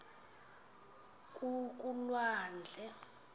kulwandle